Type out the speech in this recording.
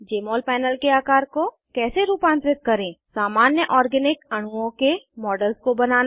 जमोल panel के आकर को कैसे रूपांतरित करें160 सामान्य ऑर्गैनिक अणुओं के मॉडल्स को बनाना